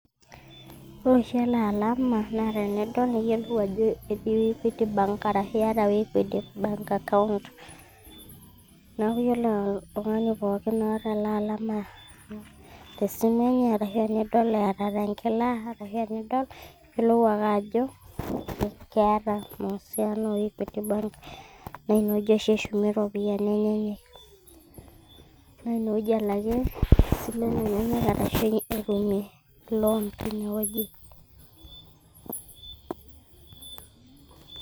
ore oshi ele alama naa tenidol niyiolou ajo etii equity bank arashu iyata equity bank account neeku yiolo oltung'ani pooki oota ele alama tesimu enye arashu idol eeta tenkila niyiolou ajo keeta mahusiano o equity bank naa ine wueji oshi eshumie iropiyiani enyenyek naa ine wueji elakie isilen enyenak arashu etumie lon tine wueji.